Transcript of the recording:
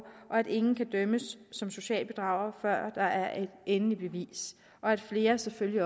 og at ingen kan dømmes som social bedrager før der er et endeligt bevis og at flere selvfølgelig